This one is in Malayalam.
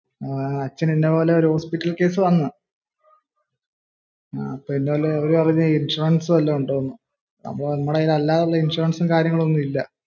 അച്ഛന് ഇതേപോലെ ഒരു ഹോസ്പിറ്റൽ കേസ് വന്നുഇവര് പറഞ്ഞു ഇൻഷുറൻസ് വല്ലതും ഉണ്ടോന്ന്അ പ്പോ ഞങ്ങളുടെ കൈയിൽ അല്ലാതെ ഇങ്ങനെ ഇൻഷുറൻസും കാര്യങ്ങളും ഒന്നുമില്ല